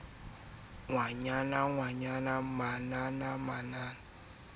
o a qhoma manana ngwananaya